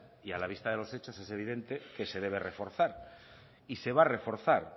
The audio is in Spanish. y a la vista de los hechos es evidente que se debe reforzar y se va a reforzar